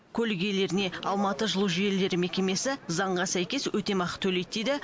көлік иелеріне алматы жылу желілері мекемесі заңға сәйкес өтемақы төлейді дейді